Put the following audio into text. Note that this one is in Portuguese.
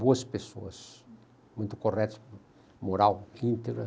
Boas pessoas, muito corretas, moral, íntegra.